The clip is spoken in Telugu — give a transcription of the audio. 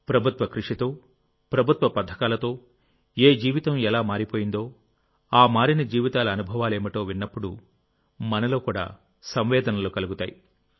ప్రభుత్వ కృషితో ప్రభుత్వ పథకాలతో ఏ జీవితం ఎలా మారిపోయిందో ఆ మారిన జీవితాల అనుభవాలేమిటో విన్నప్పుడు మనలో కూడా సంవేదనలు కలుగుతాయి